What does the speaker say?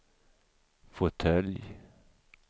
fåtölj